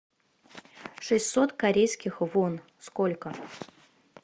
шестьсот корейских вон сколько